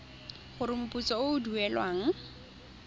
gore moputso o o duelwang